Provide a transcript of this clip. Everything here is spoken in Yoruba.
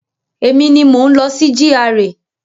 Emi ni mò ń lọ sí GRA.